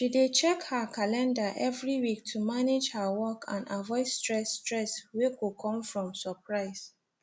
she dey check her calendar every week to manage her work and avoid stress stress wey go come from surprise